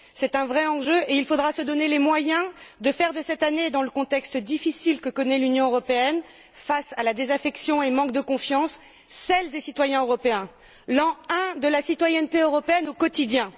C'est un vrai enjeu et il faudra se donner les moyens de faire de cette année, dans le contexte difficile que connaît l'Union européenne, face à la désaffection et au manque de confiance, celle des citoyens européens, l'an I de la citoyenneté européenne au quotidien.